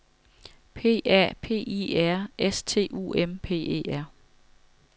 P A P I R S T U M P E R